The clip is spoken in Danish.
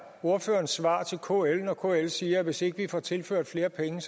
ordførerens svar til kl når kl siger at hvis ikke de får tilført flere penge